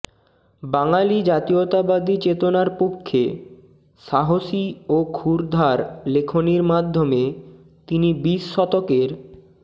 বাঙালি জাতীয়তাবাদী চেতনার পক্ষে সাহসী ও ক্ষুরধার লেখনীর মাধ্যমে তিনি বিশ শতকের